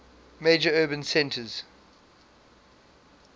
major urban centers